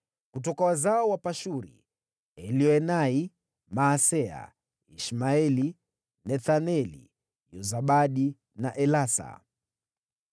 Kutoka wazao wa Pashuri: Elioenai, Maaseya, Ishmaeli, Nethaneli, Yozabadi na Elasa.